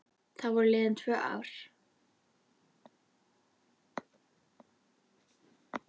Þá voru liðin tvö ár.